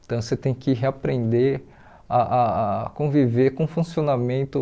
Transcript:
Então você tem que reaprender a a conviver com o funcionamento.